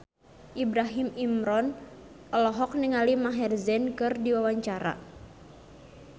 Ibrahim Imran olohok ningali Maher Zein keur diwawancara